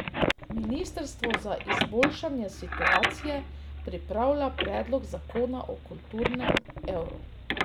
Ministrstvo za izboljšanje situacije pripravlja predlog zakona o kulturnem evru.